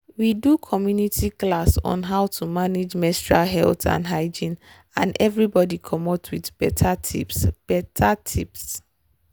we do community class on how to manage menstrual health and hygiene and everybody comot with better tips. better tips.